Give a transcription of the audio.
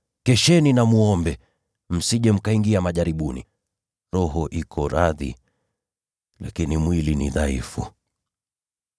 Kesheni na mwombe, msije mkaingia majaribuni. Roho iko radhi, lakini mwili ni mdhaifu.”